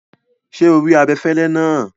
Ṣé o rí abẹ̀fẹ̀lẹ̀ náà?